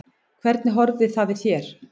Hvernig horfði það við þér?